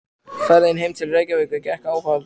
Ferðin heim til Reykjavíkur gekk áfallalaust.